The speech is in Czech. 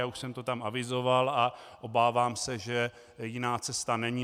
Já už jsem to tam avizoval a obávám se, že jiná cesta není.